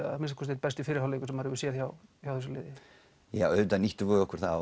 að minnsta kosti einn besti fyrri hálfleikur sem maður hefur séð hjá hjá þessu liði já auðvitað nýttum við okkur það